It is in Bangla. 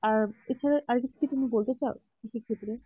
এছাড়া আর কিছু বলতে চাও কৃষির ক্ষেত্রে